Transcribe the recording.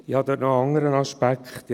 Hinzu kommt noch ein anderer Aspekt.